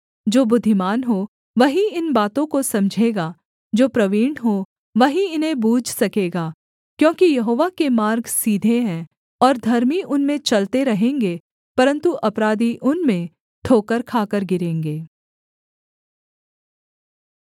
जो बुद्धिमान हो वही इन बातों को समझेगा जो प्रवीण हो वही इन्हें बूझ सकेगा क्योंकि यहोवा के मार्ग सीधे हैं और धर्मी उनमें चलते रहेंगे परन्तु अपराधी उनमें ठोकर खाकर गिरेंगे